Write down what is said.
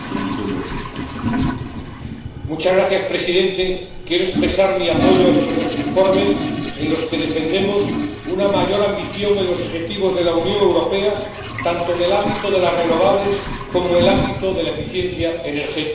Señor Presidente, quiero expresar mi apoyo a estos dos informes, en los que defendemos una mayor ambición en los objetivos de la Unión Europea tanto en el ámbito de las renovables como en el ámbito de la eficiencia energética.